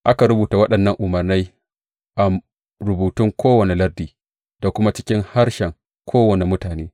Aka rubuta waɗannan umarnan a rubutun kowane lardi, da kuma cikin harshen kowane mutane.